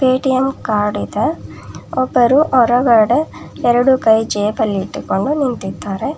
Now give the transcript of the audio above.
Paytm card ಇದೆ ಒಬ್ಬರು ಹೊರಗಡೆ ಎರಡು ಕೈ ಜೇಬಲ್ಲಿಟ್ಟುಕೊಂಡು ನಿಂತಿದ್ದಾರೆ.